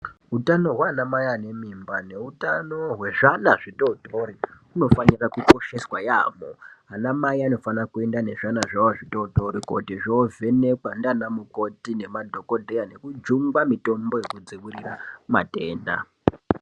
Hutano hwana Mai ane mimba hutano hwezviana zvitotori unofana kukosheswa yambo ana mai anofana kuenda nezvana zvawo zvitotori koti zvovhenekwa nana mukoti nemadhokodheya nekujungwa mitombo yekudzivirira matenda.